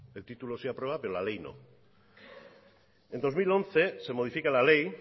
el título se aprueba pero la ley no en dos mil once se modifica la ley